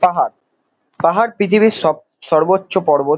পাহাড় পাহাড় পৃথিবীর সব সর্বোচ্চ পর্বত।